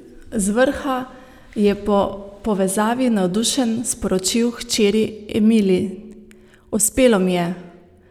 Z vrha je po povezavi navdušen sporočil hčeri Emili: "Uspelo mi je!